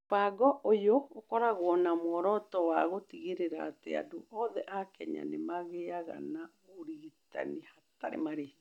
Mũbango ũyũ ũkoragwo na muoroto wa gũtigĩrĩra atĩ andũ othe a Kenya nĩ magĩaga na ũrigitani hatarĩ marĩhi.